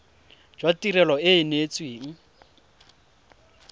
jwa tirelo e e neetsweng